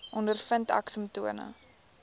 ondervind ek simptome